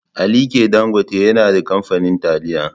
Alike Dangote yana da kamfanin taliya.